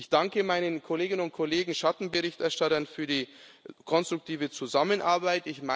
Ich danke meinen Kolleginnen und Kollegen Schattenberichterstattern für die konstruktive Zusammenarbeit.